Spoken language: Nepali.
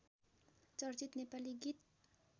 चर्चित नेपाली गीत